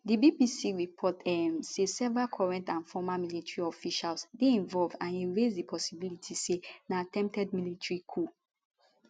di bbc report um say several current and former military officials dey involved and e raise di possibility say na attempted military coup